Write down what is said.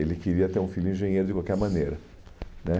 Ele queria ter um filho engenheiro de qualquer maneira né